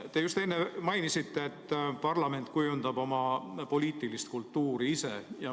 Te just enne mainisite, et parlament kujundab oma poliitilist kultuuri ise.